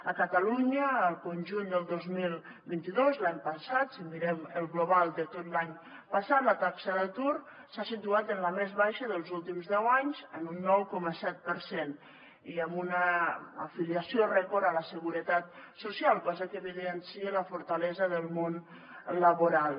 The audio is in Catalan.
a catalunya al conjunt del dos mil vint dos l’any passat si mirem el global de tot l’any passat la taxa d’atur s’ha situat en la més baixa dels últims deu anys en un nou coma set per cent i amb una afiliació rècord a la seguretat social cosa que evidencia la fortalesa del món laboral